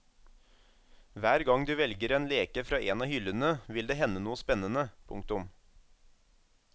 Hver gang du velger en leke fra en av hyllene vil det hende noe spennende. punktum